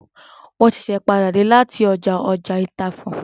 Mo ṣẹ̀ṣẹ̀ n padà dé lati ọjà ọtaifọn